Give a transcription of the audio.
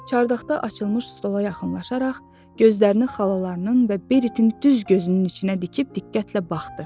Çardaqda açılmış stola yaxınlaşaraq, gözlərini xalalarının və Beritin düz gözünün içinə dikib diqqətlə baxdı.